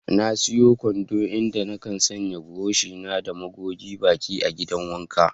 Na siya kwando, inda na kan sanya buroshi na da man goge baki a'gidan wanka.